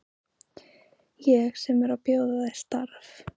Ég sem er að bjóða þér starf!